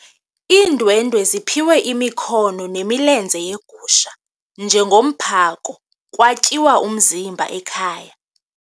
Iindwendwe ziphiwe imikhono nemilenze yegusha njengomphako kwatyiwa umzimba ekhaya.